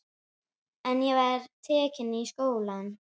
En ég var tekin í skólann.